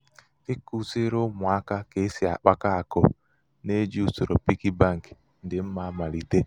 ikuziri ụmụaka ka esi akpakọ akụ na-eji usoro piggy bank um dị mma um amalite. um